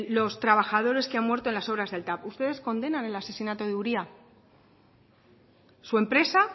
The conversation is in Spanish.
los trabajadores que han muerto en las obras del tav ustedes condenan el asesinato de uria su empresa